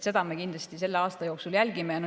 Seda me kindlasti selle aasta jooksul jälgime.